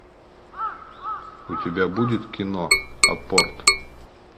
у тебя будет кино апорт